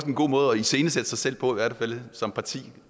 en god måde at iscenesætte sig selv på som parti